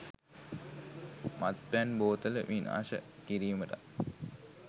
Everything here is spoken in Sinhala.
මත්පැන් බෝතල විනාශ කිරීමටත්